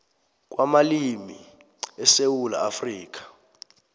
kwamalimi esewula afrika